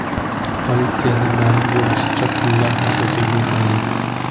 Politsiyada ma’lum bo‘lishicha, pullar haqiqiy bo‘lmagan.